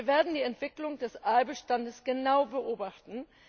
Wir werden die Entwicklung des Aalbestands genau beobachten.